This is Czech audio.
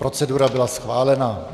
Procedura byla schválena.